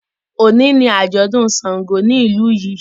oni ní ajọdun ṣàngó ní ilú yí.